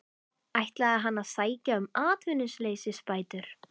Ætlaði hann að sækja um atvinnuleysisbætur?